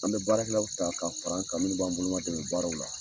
An be baarakɛlaw ta ka fara an ka minnu b'an bolo ma dɛmɛ baaraw la.